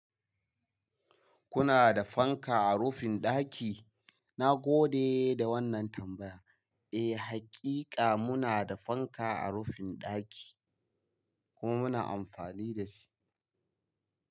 Kuna da fanka a rufin ɗaki? Na gode da wannan tambaya. Eh, hakika muna da fanka a rufin ɗakin kuma muna amfani da shi.